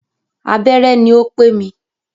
Abẹ́rẹ́ ní o pé mi.